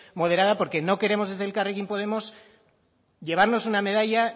moderada porque no queremos desde elkarrekin podemos llevarnos una medalla